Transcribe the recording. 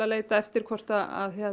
leita eftir hvort